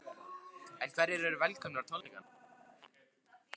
En hverjir eru velkomnir á tónleikana?